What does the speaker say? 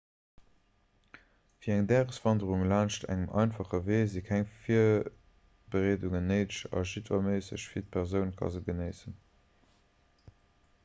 fir eng dageswanderung laanscht engem einfache wee si keng virbereedungen néideg a jiddwer méisseg fit persoun ka se genéissen